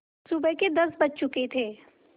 सुबह के दस बज चुके थे